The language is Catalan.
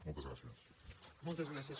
moltes gràcies